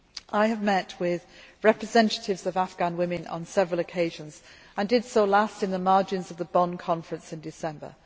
I have met with representatives of Afghan women on several occasions and did so last in the margins of the Bonn Conference in December.